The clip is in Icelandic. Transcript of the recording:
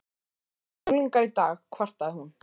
Þessir unglingar í dag kvartaði hún.